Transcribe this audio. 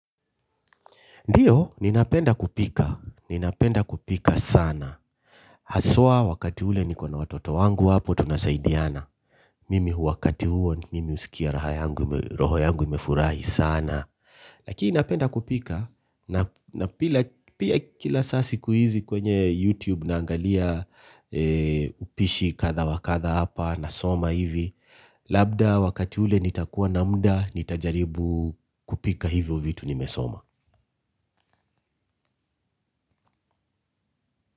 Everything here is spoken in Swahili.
Ndiyo, ninapenda kupika. Ninapenda kupika sana. Haswa wakati ule nikona watoto wangu hapo tunasaidiana. Mimi wakati huo, mimi husikia roho yangu imefurahi sana. Lakini napenda kupika. Na pia kila saa siku hizi kwenye YouTube naangalia upishi kadha wa kadha hapa nasoma hivi. Labda wakati ule nitakuwa na muda, nitajaribu kupika hivyo vitu nimesoma.